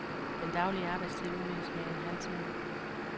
Den daglige arbejdstid udvides med en halv time.